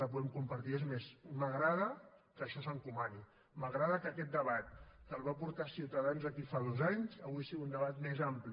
la podem compartir és més m’agrada que això s’encomani m’agrada que aquest debat que el va portar ciutadans aquí fa dos anys avui sigui un debat més ampli